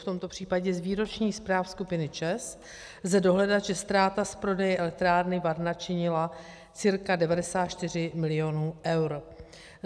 V tomto případě z výročních zpráv skupiny ČEZ lze dohledat, že ztráta z prodeje elektrárny Varna činila cca 94 milionů eur.